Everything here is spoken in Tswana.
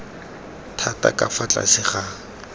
thata ka fa tlase ga